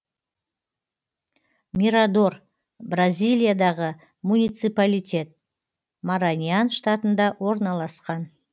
мирадор бразилиядағы муниципалитет мараньян штатында орналасқан